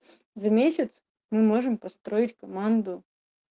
за месяц мы можем построить команду